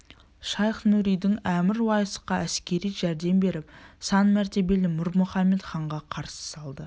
шайх-нұридин әмір уайсқа әскери жәрдем беріп сан мәртебелі мір мұхамед ханға қарсы салды